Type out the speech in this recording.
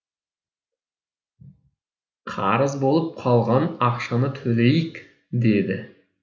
қарыз болып қалған ақшаны төлейік деді